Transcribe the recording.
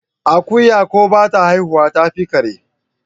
Akuya ko bata haihuwa tafi kare?